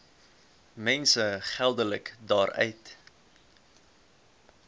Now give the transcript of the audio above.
mense geldelik daaruit